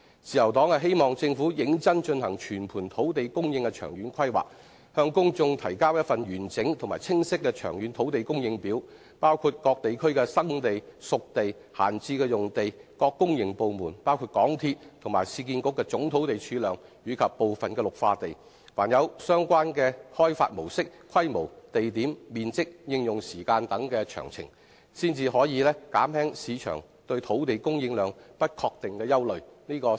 自由黨希望政府認真進行全盤土地供應的長遠規劃，向公眾提交一份完整及清晰的長遠土地供應表，包括各地區的"生地"、"熟地"、閒置用地、各公營部門包括港鐵和市區重建局的總土地儲量及部分綠化地，以及相關土地的開發模式、規模、地點、面積、應用時間等詳情，才可以減輕市場對土地供應量不確定的憂慮。